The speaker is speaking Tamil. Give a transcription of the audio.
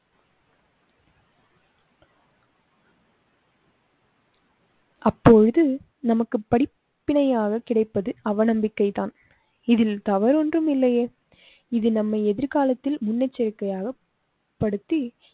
அப்போ இது நமக்கு படிப்பினை யாக கிடைப்பது அவநம்பிக்கை தான். இதில் தவறு ஒன்றுமில்லையே இது நம்ம எதிர்காலத்தில் முன்னெச்சரிக்கையாக. படுத்தி